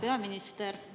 Hea peaminister!